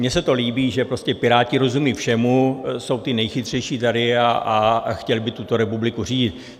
Mně se to líbí, že prostě Piráti rozumí všemu, jsou ti nejchytřejší tady a chtěli by tuto republiku řídit.